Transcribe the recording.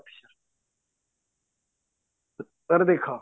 ଦେଖ